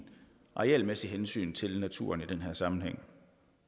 arealmæssigt hensyn til naturen i den her sammenhæng